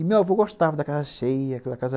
E meu avô gostava da casa cheia, aquela casa...